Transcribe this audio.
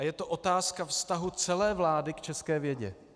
A je to otázka vztahu celé vlády k české vědě.